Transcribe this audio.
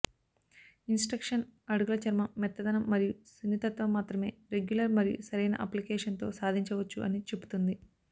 instruction అడుగుల చర్మం మెత్తదనం మరియు సున్నితత్వం మాత్రమే రెగ్యులర్ మరియు సరైన అప్లికేషన్ తో సాధించవచ్చు అని చెపుతుంది